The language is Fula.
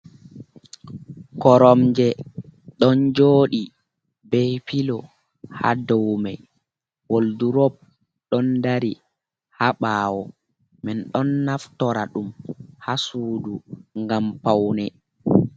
koromje ɗon jooɗe ɓe pilo ha doumai woldurop ɗon ɗari ha ɓawo man ɗon naftora ɗum ha Suudu ngam paune.